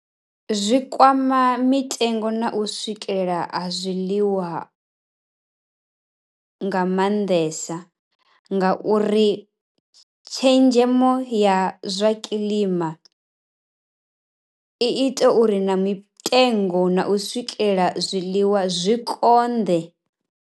Zwikwama mitengo na u swikela zwiḽiwa nga maanḓesa, nga uri tshenzhemo ya zwa kiḽima i ita uri na mitengo na u swikela zwiḽiwa zwi konḓe.